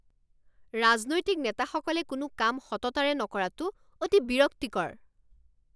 ৰাজনৈতিক নেতাসকলে কোনো কাম সততাৰে নকৰাটো অতি বিৰক্তিকৰ